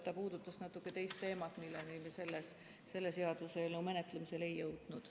Ta puudutas natuke teist teemat, milleni me selle seaduseelnõu menetlemisel ei jõudnud.